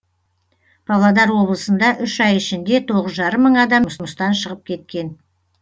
павлодар облысында үш ай ішінде тоғыз жарым мың адам жұмыстан шығып кеткен